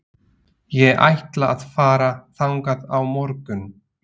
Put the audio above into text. Ég ætla að fara þangað á morgun.